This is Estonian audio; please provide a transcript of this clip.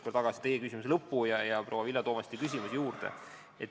Pean silmas teie küsimuse lõppu ja proua Vilja Toomasti küsimust.